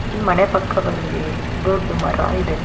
ಈ ಮನೆ ಪಕ್ಕ ಬಂದಿ ದೊಡ್ಡ್ ಮರ ಇದೆ.